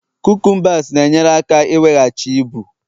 cucumbers na-enyere aka iweghachi ibu